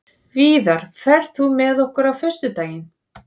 Víðar, ferð þú með okkur á föstudaginn?